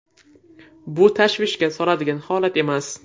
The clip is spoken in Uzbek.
Bu tashvishga soladigan holat emas.